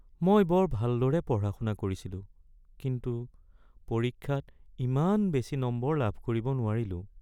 মই বৰ ভালদৰে পঢ়া-শুনা কৰিছিলো কিন্তু পৰীক্ষাত ইমান বেছি নম্বৰ লাভ কৰিব নোৱাৰিলো।